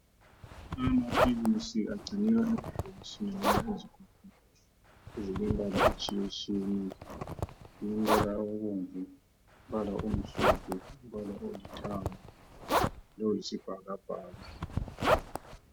Amaphilisi agcinwa emabhokisini loba ezigubhini ezilembala etshiyetshiyeneyo, umbala obomvu, umbala omhlophe, umbala olithanga loyisibhakabhaka.